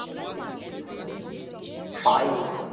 পায়ে?